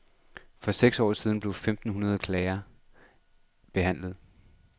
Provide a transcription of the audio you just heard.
For seks år siden blev femten hundrede klager behandlet.